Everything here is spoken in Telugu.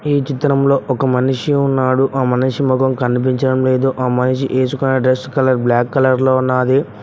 ఈ చిత్రంలో ఒక మనిషి ఉన్నాడు ఆ మనిషి మొఖం కనిపించడం లేదు ఆ మనిషి వేసుకున్న డ్రెస్ కలర్ బ్లాక్ కలర్ లో ఉన్నది.